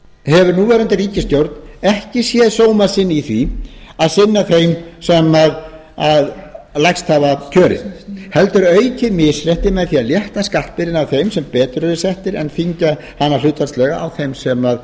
hefur núverandi ríkisstjórn ekki séð sóma sinn í því að sinna þeim sem lægst hafa kjörin heldur aukið misréttið með því að létta skattbyrðinni af þeim sem betur eru settir en þyngja hana hlutfallslega á þeim sem